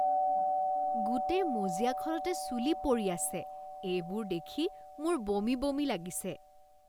গোটেই মজিয়াখনতে চুলি পৰি আছে। এইবোৰ দেখি মোৰ বমি বমি লাগিছে।